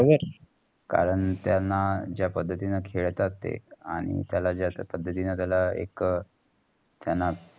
कारण, त्यांना जा पद्धतींनी खेळतात ते आणि तेला जा पद्धतींनी तेला एक त्यांना